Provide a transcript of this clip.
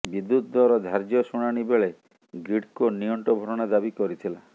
ବିଦ୍ୟୁତ ଦର ଧାର୍ଯ୍ୟ ଶୁଣାଣି ବେଳେ ଗ୍ରୀଡ଼କୋ ନିଅଣ୍ଟ ଭରଣା ଦାବି କରିଥିଲା